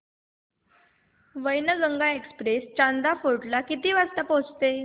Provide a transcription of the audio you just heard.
Wainganga express Chanda fort ला किती वाजता पोहचते